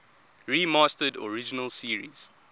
remastered original series